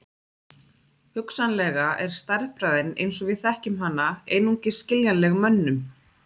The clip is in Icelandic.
Hugsanlega er stærðfræðin eins og við þekkjum hana einungis skiljanleg mönnum.